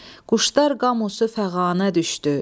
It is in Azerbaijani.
Quşlar qamusu fəğanə düşdü,